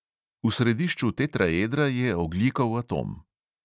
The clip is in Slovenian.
V središču tetraedra je ogljikov atom.